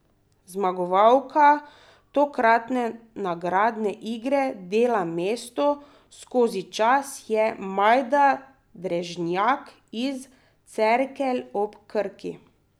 Zmagovalka tokratne nagradne igre Dela Mesto skozi čas je Majda Drežnjak iz Cerkelj ob Krki.